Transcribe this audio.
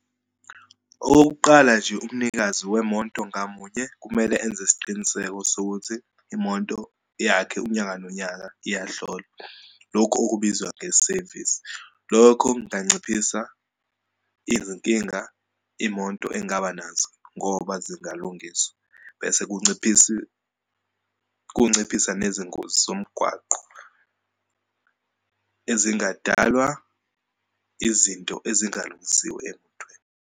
Okokuqala nje, umnikazi wemonto ngamunye kumele enze isiqiniseko sokuthi imonto yakhe, unyaka nonyaka, iyahlolwa. Lokhu okubizwa ngesevisi. Lokho kunganciphisa izinkinga imoto engaba nazo, ngoba zingalungiswa bese kunciphisi, kunciphise nezingozi zomgwaqo, ezingadalwa izinto ezingalungisiwe emontweni.